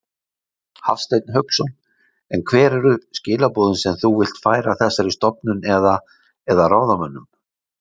Hafsteinn Hauksson: En hver eru skilaboðin sem þú vilt færa þessari stofnun eða, eða ráðamönnum?